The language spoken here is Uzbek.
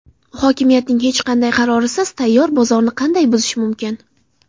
Hokimiyatning hech qanday qarorisiz tayyor bozorni qanday buzish mumkin?